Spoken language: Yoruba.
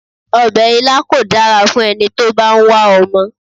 Obè ilá kò dára fún eni tó bá n wá omo